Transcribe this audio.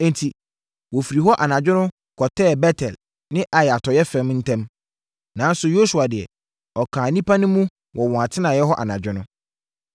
Enti, wɔfirii hɔ anadwo no kɔtɛɛ Bet-El ne Ai atɔeɛ fam ntam. Nanso, Yosua deɛ, ɔkaa nnipa no mu wɔ wɔn atenaeɛ hɔ anadwo no.